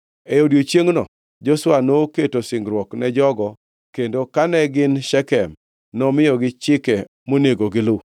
E odiechiengno Joshua noketo singruok ne jogo, kendo kane gin Shekem nomiyogi chike monego gilu.